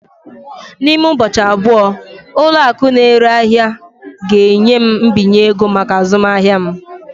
N'ime ụbọchị abụọ, ụlọ akụ na-ere ahịa ga-enye m mbinye ego maka azụmahịa m.